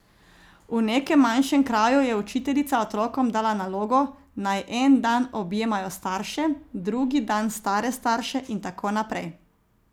V nekem manjšem kraju je učiteljica otrokom dala nalogo, naj en dan objemajo starše, drugi dan stare starše in tako naprej.